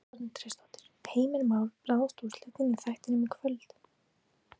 Edda Andrésdóttir: Heimir Már, ráðast úrslitin í þættinum í kvöld?